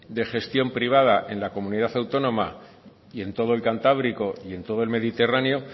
de gestión privada en la comunidad autónoma y en todo el cantábrico y en todo el mediterráneo